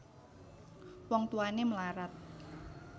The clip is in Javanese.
Wong Tuwané mlarat